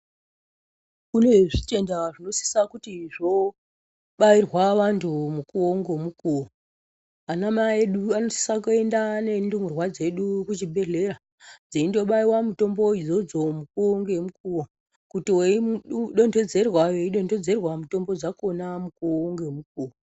Kune zvitenda zvinosisa kuti zvoobairwa vantu, mukuwo ngomukuwo. Anamai edu anosisa kuenda nendumurwa dzedu kuchibhedhlera, dzeindobayirwa mutombo idzodzo mukuwo, ngemukuwo. Kuti weidonthedzerwa, weidonthedzerwa mutombo dzakhona mukuwo, ngemukuwo.